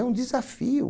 É um desafio.